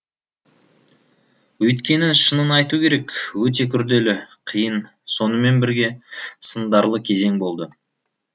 өйткені шынын айту керек өте күрделі қиын сонымен бірге сындарлы кезең болды